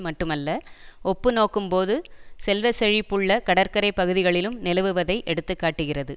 மட்டுமல்ல ஒப்புநோக்கும்போது செல்வ செழிப்புள்ள கடற்கரை பகுதிகளிலும் நிலவுவதை எடுத்து காட்டுகிறது